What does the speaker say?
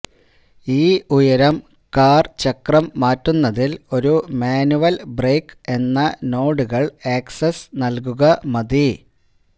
ഈ ഉയരം കാർ ചക്രം മാറ്റുന്നതിൽ ഒരു മാനുവൽ ബ്രേക്ക് എന്ന നോഡുകൾ ആക്സസ് നൽകുക മതി